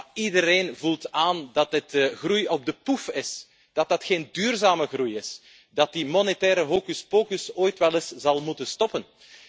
Maar iedereen voelt aan dat dit groei op de pof is, dat dat geen duurzame groei is, dat die monetaire hocus pocus ooit wel eens zal moeten stoppen.